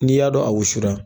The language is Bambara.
N'i y'a dɔn a wusura.